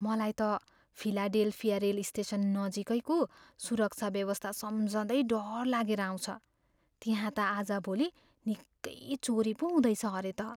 मलाई त Philadelphia rail station नजिकैको सुरक्षा व्यवस्था सम्झँदै डर लागेर आउँछ, त्यहाँ त आजभोलि निकै चोरी पो हुँदैछ अरे त।